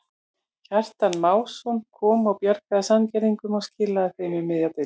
Kjartan Másson kom og bjargaði Sandgerðingum og skilaðu þeim um miðja deild.